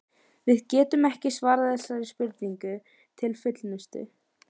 Við getum ekki svarað þessari spurningu til fullnustu.